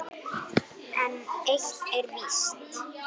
En eitt er víst